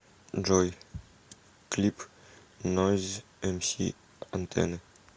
джой клип нойз эмси антенны